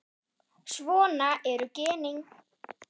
Svona eru genin.